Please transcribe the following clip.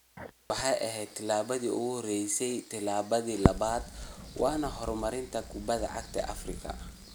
Taasi waxay ahayd tillaabadii ugu horreysay, tillaabada labaad waa horumarinta kubbadda cagta Afrika.